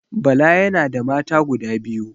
Bala yana da mata guda biyu